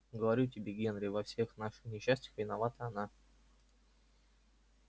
говорю тебе генри во всех наших несчастьях виновата она